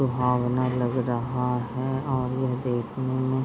लुहावना लग रहा है और यह देखने में --